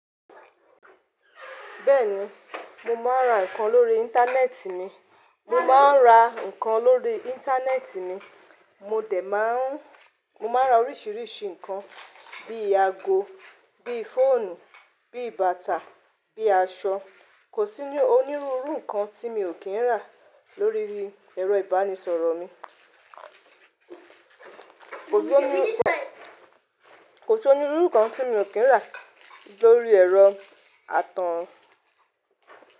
Bẹ́ẹ̀ni, mo máa ń ra nǹkan lórí Íńtánẹ́ẹ̀tì ni. Mo máa ń ra nǹkan lórí Íńtánẹ́ẹ̀tì ni. Mo dè máa ń Mo máa ń ra oríṣìíríṣìí nǹkan bí i ago, bí i fóònù, bí i bàtà, bí i aṣọ. Kò sí onírúurú nǹkan tí mi ò kí ń rà lórí ẹ̀rọ ìbánisọ̀rọ̀ mi. Kò sí onírúurú nǹkan tí mi ò kí ń rà lórí ẹ̀rọ atọ̀húnrùn.